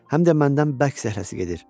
Həm də məndən bərk zəhləsi gedir.